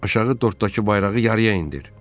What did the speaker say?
Aşağı dorddakı bayrağı yarıya indir.